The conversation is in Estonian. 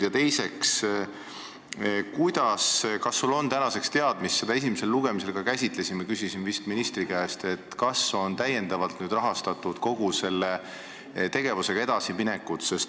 Ja teiseks, kas sul on tänaseks teada – me käsitlesime seda ka esimesel lugemisel ja ma küsisin seda siis ministri käest –, kas on täiendavalt rahastatud kogu selle tegevusega edasiminek?